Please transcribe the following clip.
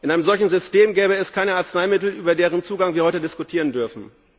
In einem solchen System gäbe es keine Arzneimittel, über deren Zugang wir heute diskutieren dürfen.